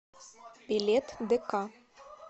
билет дк